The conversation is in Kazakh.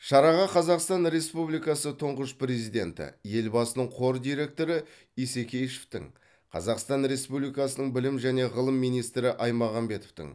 шараға қазақстан республикасы тұңғыш президенті елбасының қор директоры исекешевтің қазақстан республикасының білім және ғылым министрі аймағамбетовтің